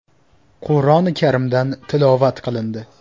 Qur’oni Karimdan tilovat qilindi.